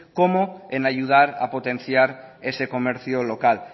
como en ayudar a potenciar ese comercio local